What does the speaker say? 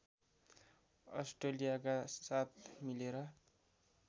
अस्ट्रेलियाका साथ मिलेर